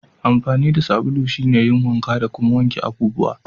Amfanin sabulu shine yin wanka da kuma wankin abubuwa.